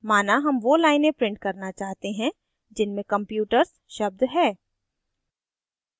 माना हम वो लाइनें print करना चाहते हैं जिनमे computers शब्द है